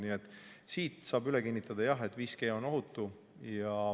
Nii et siinkohal saab üle kinnitada: jah, 5G on ohutu.